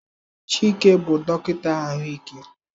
Chike bụ dọkịta ahụike.